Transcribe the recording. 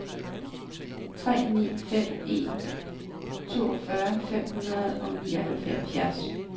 tre ni fem en toogfyrre fem hundrede og nioghalvfjerds